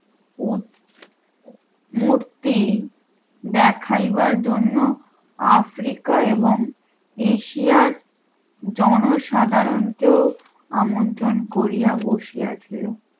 মূর্তি দেখাইবার জন্য আফ্রিকা এবং এশিয়ার জনসাধারণকেও আমন্ত্রণ করিয়া বসিয়া ছিল